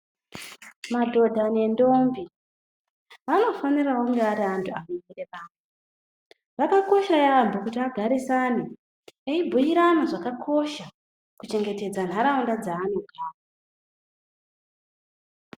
Madhodha ne ndombi vanofanirawo kunga vari vantuvanobhuirana Zvakakosha yambo kuti agarisane eibhuirana zvakakosha kuchengetedza nharaunda dzaanogara